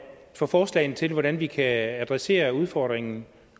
for forslagene til hvordan vi kan adressere udfordringen